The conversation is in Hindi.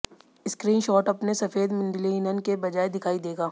स्क्रीन शॉट अपने सफेद लिनन के बजाय दिखाई देगा